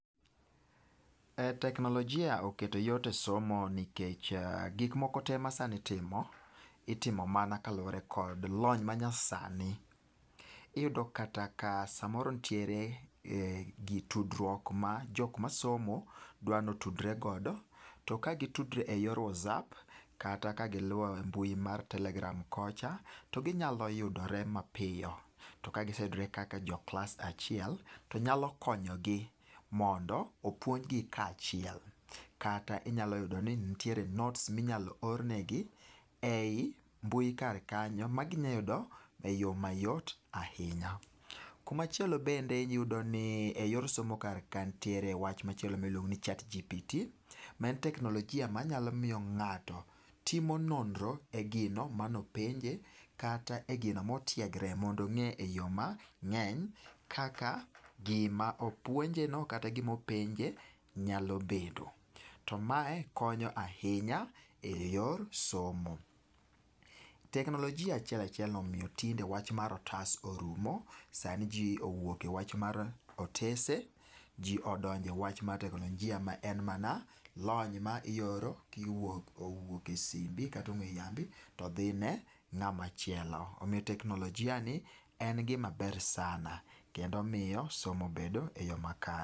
Teknolojia oketo yot esomo nikech gik moko te masani itimo, itimo mana kaluwore kod lony manyasani. Iyudo kata ka samoro nitiere gi tudruok ma jok masomo dwa notudre godo to ka gitudre eyor whatsapp kata kagiluwo e mbui mar telegram kocha to ginyalo yudore mapiyo. Tom ka giseyudre kaka jo klas achiel, to nyalo konyogi mondo opuonjgi ka achiel kata inyalo nyudo ni nitiere â€ cs] note[cs6 minyalo ornegi ei mbui kar kanyo ma ginyalo eyo mayot ahinya. Kuma chielo bende iyudo ni eyor somo kar ka nitiere wach machielo miluongo ni chatgpt maen teknolojia manyalo miyo ng'ato timo nonro e gima mano penje kata e gino motiegre mondo ong'e eyo mang'eny kaka gim manopuonjeno kata gima openje nyalo bedo. Tom mae konyo ahinya eyor somo. Teknolojia achiel achielno omiyo tinde wach mar otas orumo. Sani ji owuok e wach mar otese to ji odonjo e wach mar teknolojia maen mana lony ma ioro kowuok e simbi kata ong'ue yambi to dhine ng'ama chielo. Omiyo teknolojiani en gima ber sana kendo omiyo somo mbedo eyo makare.